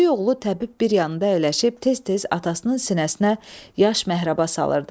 Böyük oğlu təbib bir yanında əyləşib tez-tez atasının sinəsinə yaş məhrəba salırdı.